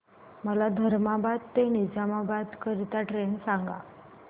मला धर्माबाद ते निजामाबाद करीता ट्रेन सांगा